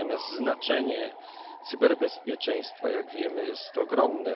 Natomiast znaczenie cyberbezpieczeństwa, jak wiemy, jest to ogromne.